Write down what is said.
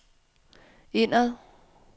indad